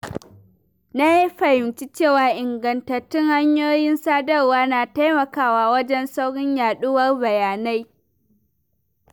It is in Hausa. Na fahimci cewa ingantattun hanyoyin sadarwa na taimakawa wajen saurin yaɗuwar bayanai.